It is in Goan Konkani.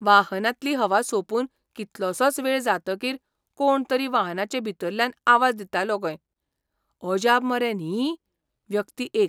वाहनांतली हवा सोंपून कितलोसोच वेळ जातकीर कोण तरी वाहनाचे भितरल्यान आवाज दितालो खंय. अजाप मरे, न्ही? व्यक्ती एक